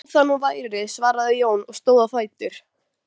Þó það nú væri, svaraði Jón og stóð á fætur.